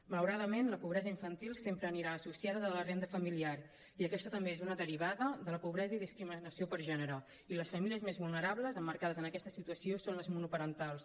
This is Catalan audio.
malauradament la pobresa infantil sempre anirà associada a la renda familiar i aquesta també és una derivada de la pobresa i discriminació per gènere i les famílies més vulnerables emmarcades en aquesta situació són les monoparentals